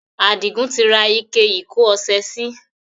Adigun tí ra ike ìkọ́ ọsẹ sì.